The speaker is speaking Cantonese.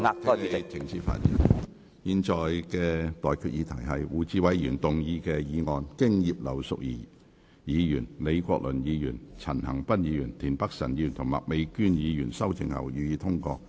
我現在向各位提出的待決議題是：胡志偉議員動議的議案，經葉劉淑儀議員、李國麟議員、陳恒鑌議員、田北辰議員及麥美娟議員修正後，予以通過。